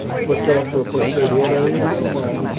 Mas depois que ela foi para o interior, aí não deu mais.